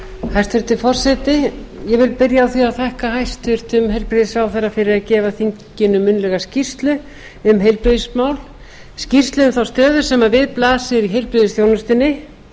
hæstvirtur forseti ég vil byrja á því að þakka hæstvirtum heilbrigðisráðherra fyrir að gefa þinginu munnlega skýrslu um heilbrigðismál skýrslu um þá stöðu sem við blasir í heilbrigðisþjónustunni